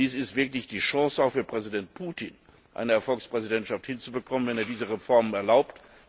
Dies ist wirklich auch die Chance für Präsident Putin, eine Erfolgspräsidentschaft hinzubekommen, wenn er diese Reformen erlaubt.